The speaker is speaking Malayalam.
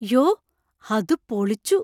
യോ! അത് പൊളിച്ചു!